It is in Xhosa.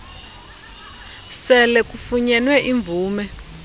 sele kufunyenwe imvume